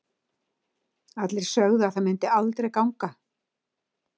Allir sögðu að það myndi aldrei ganga.